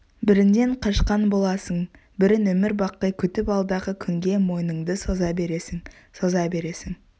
бірінен қашқан боласың бірін өмірбақи күтіп алдағы күнге мойныңды соза бересін соза бересің